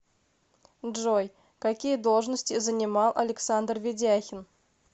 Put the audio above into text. джой какие должности занимал александр ведяхин